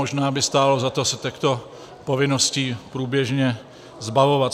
Možná by stálo za to se těchto povinností průběžně zbavovat.